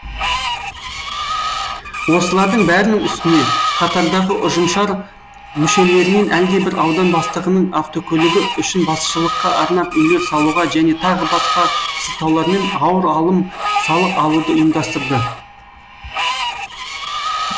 осылардың бәрінің үстіне қатардағы ұжымшар мүшелерінен әлдебір аудан бастығының автокөлігі үшін басшылыққа арнап үйлер салуға және т б сылтаулармен ауыр алым салық алуды ұйымдастырды